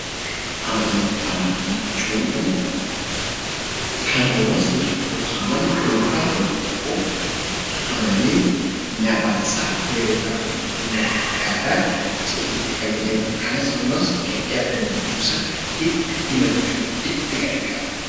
Amantaa jechuun kan haawasni tokko yookiin namni dhuunfaa tokko itti amanee na baasa, yeroo rakkoo koo na gargaara jedhee itti fayyadamudha. Kanas hawaasni gaddaaf gammachuu isaa itti himachuuf itti gargaarama.